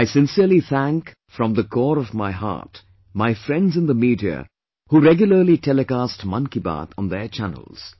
I sincerely thank from the core of my heart my friends in the media who regularly telecast Mann Ki Baat on their channels